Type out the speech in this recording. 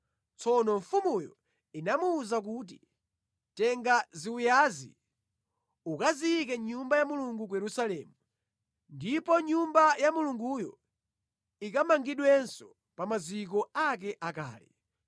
Tsono mfumuyo inamuwuza kuti, ‘Tenga ziwiyazi ukaziyike mʼNyumba ya Mulungu ku Yerusalemu. Ndipo Nyumba ya Mulunguyo ikamangidwenso pa maziko ake akale.’